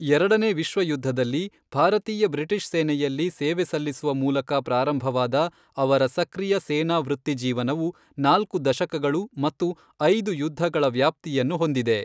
ಎರಡನೇ ವಿಶ್ವ ಯುದ್ಧದಲ್ಲಿ ಭಾರತೀಯ ಬ್ರಿಟಿಷ್ ಸೇನೆಯಲ್ಲಿ ಸೇವೆ ಸಲ್ಲಿಸುವ ಮೂಲಕ ಪ್ರಾರಂಭವಾದ ಅವರ ಸಕ್ರಿಯ ಸೇನಾ ವೃತ್ತಿಜೀವನವು, ನಾಲ್ಕು ದಶಕಗಳು ಮತ್ತು ಐದು ಯುದ್ಧಗಳ ವ್ಯಾಪ್ತಿಯನ್ನು ಹೊಂದಿದೆ.